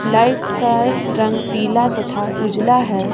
Light का रंग पीला तथा उजला है ।